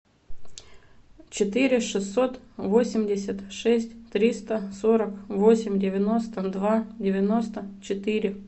четыре шестьсот восемьдесят шесть триста сорок восемь девяносто два девяносто четыре